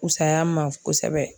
Fusaya ma kosɛbɛ